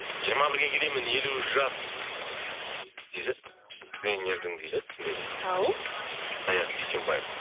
жиырма бірге келемін елу жас дейді тренердің дейді түсінбедім ау саят дүйсенбаев